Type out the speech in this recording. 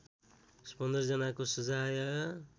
१५ जनाको सजाय